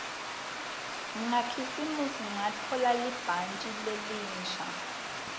ngakhisimusi ngatfola libhantji lelisha